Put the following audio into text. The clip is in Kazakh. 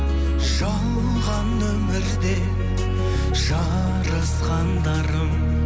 жалған өмірде жарысқандарым